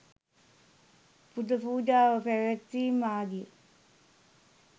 පුද පූජාව පැවැත්වීම් ආදිය